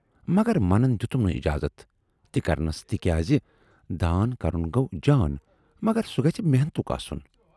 "مگر منَن دِتُم نہٕ اِجازت تہِ کرنَس تِکیازِ دان کَرُن گَو جان مگر سُہ گژھِ محنتُک آسُن۔